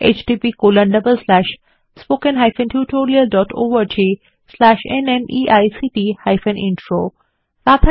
httpspoken tutorialorgNMEICT Intro Radha এই tutorial টি অনুবাদ এবং অন্তরা সেটি রেকর্ড করেছেন